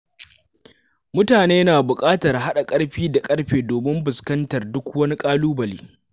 Mutane na buƙatar haɗa ƙarfi da ƙarfe domin fuskantar duk wani ƙalubale.